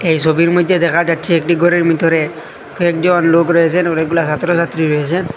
এই সবির মইধ্যে দেখা যাচ্ছে একটি ঘরের ভিতরে কয়েকজন লোক রয়েসেন অনেকগুলা সাত্র সাত্রী রয়েসেন।